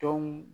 Dɔn